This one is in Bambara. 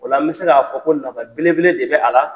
O la an be se k'a fɔ ko nafa belebele de bɛ a la.